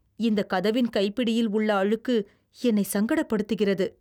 இந்த கதவின் கைப்பிடியில் உள்ள அழுக்கு என்னை சங்கடப்படுத்துகிறது.